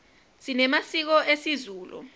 sinemasiko esizulu